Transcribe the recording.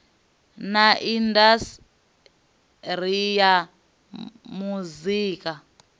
na indas ri ya muzika